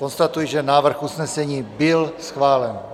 Konstatuji, že návrh usnesení byl schválen.